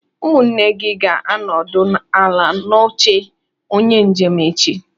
Ụmụnne gị ga-anọdụ ala n'oche onye njem echi.